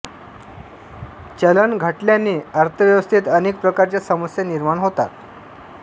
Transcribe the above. चलन घटल्याने अर्थव्यवस्थेत अनेक प्रकारच्या समस्या निर्माण होतात